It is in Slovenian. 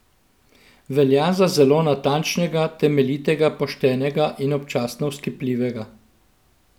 Velja za zelo natančnega, temeljitega, poštenega in občasno vzkipljivega.